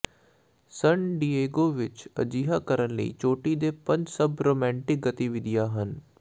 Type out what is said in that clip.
ਸਨ Diego ਵਿੱਚ ਅਜਿਹਾ ਕਰਨ ਲਈ ਚੋਟੀ ਦੇ ਪੰਜ ਸਭ ਰੋਮਾਂਟਿਕ ਗਤੀਵਿਧੀਆਂ ਹਨ